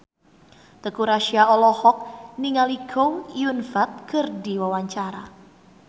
Teuku Rassya olohok ningali Chow Yun Fat keur diwawancara